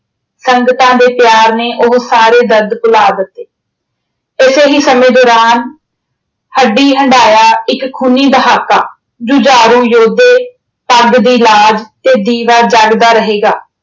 ਸੰਗਤਾਂ ਦੇ ਪਿਆਰ ਨੇ ਉਹ ਸਾਰੇ ਦਰਦ ਭੁਲਾ ਦਿੱਤੇ। ਉਸੇ ਹੀ ਸਮੇਂ ਦੌਰਾਨ ਹੱਡੀ ਹੰਡਾਇਆ ਇੱਕ ਖੂਨੀ ਦਹਾਕਾ ਜੁਝਾਰੂ ਯੋਧੇ, ਪੱਗ ਦੀ ਲਾਜ਼ ਤੇ ਦੀਵਾ ਜਗਦਾ ਰਹੇਗਾ।